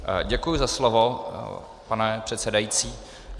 Děkuji za slovo, pane předsedající.